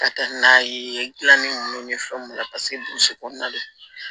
Ka taa n'a ye gilanin ninnu ni fɛn mun na paseke burusi kɔnɔna de do